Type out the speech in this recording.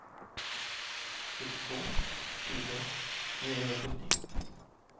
sjuttiotvå tusen niohundrasjuttio